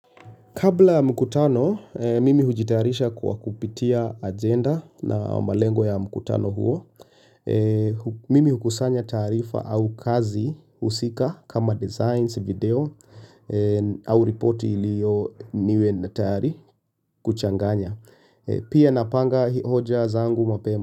Kabla ya mkutano, mimi hujitayarisha kwa kupitia agenda na malengo ya mkutano huo. Mimi hukusanya taarifa au kazi husika kama designs video au ripoti ilio niwe na tayari kuchanganya. Pia napanga hoja zangu mapema.